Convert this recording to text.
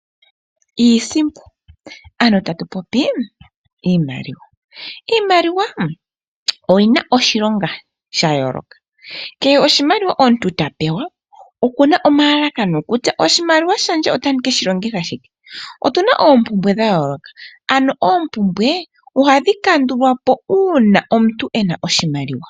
Iisimpo, ano tatu popi iimaliwa! Iimaliwa oyina iilonga ya yooloka ,kehe oshimaliwa omuntu ta pewa , okuna omlalakano kutya oshimaliwa shaye ota keshi longitha shike. Otuna oompumbwe dha yooloka, ano oompumbwe ohadhi kandulwa po uuna omuntu ena oshimaliwa.